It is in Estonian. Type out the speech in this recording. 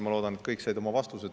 Ma loodan, et kõik said oma vastused.